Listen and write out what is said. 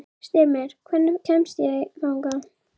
Kjartan: Vissulega, hversu margir voru hérna þegar mest er?